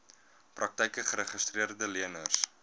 praktyke geregistreede leners